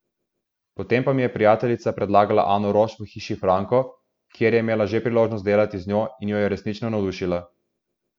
Potem pa mi je prijateljica predlagala Ano Roš v Hiši Franko, ker je imela že priložnost delati z njo in jo je resnično navdušila.